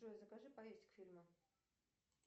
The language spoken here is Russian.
джой закажи поесть к фильму